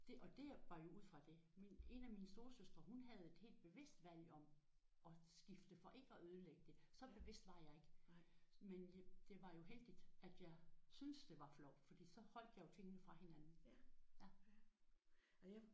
Det og det er var jo ud fra det. Min en af mine storesøstre hun havde et helt bevidst valg om at skifte for ikke at ødelægge det. Så bevidst var jeg ikke. Men det var jo heldigt at jeg syntes det var flovt for så holdt jeg jo tingene fra hinanden